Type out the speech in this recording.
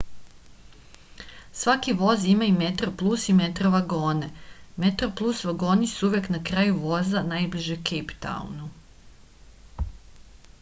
svaki voz ima i metroplus i metro vagone metroplus vagoni su uvek na kraju voza najbliže kejptaunu